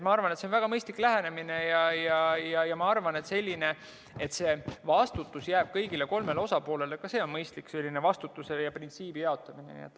See on väga mõistlik lähenemine ja ka see, et vastutus jääb kõigile kolmele osapoolele, on mõistlik, selline vastutuse printsiibi jaotamine.